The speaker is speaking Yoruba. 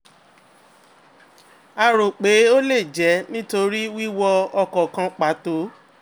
a rò pé ó lè jẹ́ nítorí wíwo ọkọ̀ kan pato